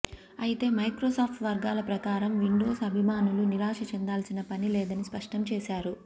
ఐతే మైక్రోసాప్ట్ వర్గాల ప్రకారం విండోస్ అభిమానులు నిరాశ చెందాల్సిన పని లేదని స్ఫష్టం చేశారు